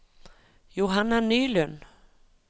Johanna Nylund